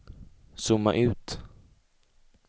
zooma ut